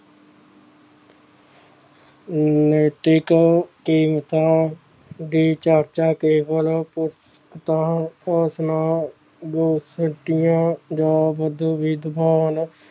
ਨੈਤਿਕਾਂ ਕੀਮਤਾਂ ਦੀ ਚਰਚਾ ਕੇਵਲ ਜਾਂ ਵਿਦ~ ਵਿਦਵਾਨ